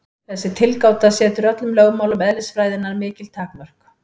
Þessi tilgáta setur öllum lögmálum eðlisfræðinnar mikil takmörk.